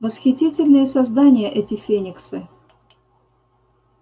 восхитительные создания эти фениксы